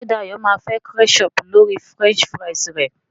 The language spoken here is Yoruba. ṣe Dayo má fè ketchup lórí french fries re?